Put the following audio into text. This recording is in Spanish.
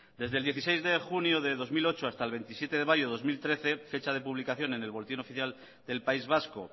desde el dieciséis de junio del dos mil ocho hasta el veintisiete de mayo del dos mil trece fecha de publicación en el boletín oficial del país vasco